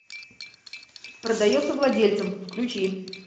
продается владельцем включи